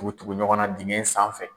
Tugu tugu ɲɔgɔn na dingɛ in sanfɛ.